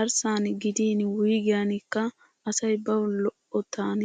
Arssani giddin wuyiggenikka asay bawu lo'ottan